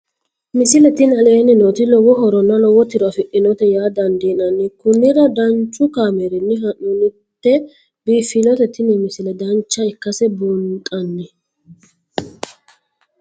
misile tini aleenni nooti lowo horonna lowo tiro afidhinote yaa dandiinanni konnira danchu kaameerinni haa'noonnite biiffannote tini misile dancha ikkase buunxanni